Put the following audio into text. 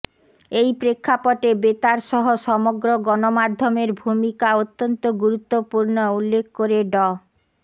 এই প্রেক্ষাপটে বেতারসহ সমগ্র গণমাধ্যমের ভূমিকা অত্যন্ত গুরুত্বপূর্ণ উল্লেখ করে ড